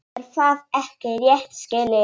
Er það ekki rétt skilið?